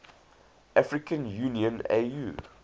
african union au